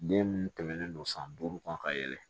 Den minnu tɛmɛnen don san duuru kan ka yɛlɛ